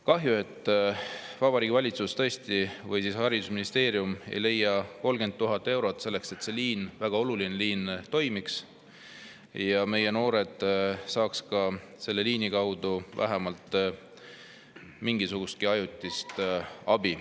Kahju, et Vabariigi Valitsus või haridusministeerium ei leia 30 000 eurot selleks, et see liin, väga oluline liin, toimiks ja meie noored saaks selle liini kaudu vähemalt mingisugustki ajutist abi.